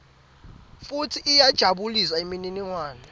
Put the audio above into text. futsi iyajabulisa imininingwane